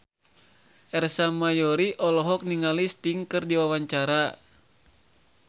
Ersa Mayori olohok ningali Sting keur diwawancara